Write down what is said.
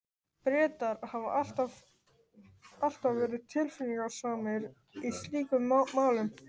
Bretar hafa alltaf verið tilfinningasamir í slíkum málum.